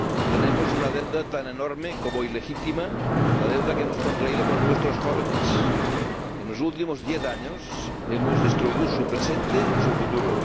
Tenemos una deuda tan enorme como ilegítima la deuda que hemos contraído con nuestros jóvenes. En los últimos diez años, hemos destruido su presente y su futuro